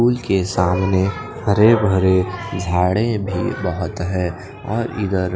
pool के सामने हरे भरे झाडे भी बहोत हे और इधर--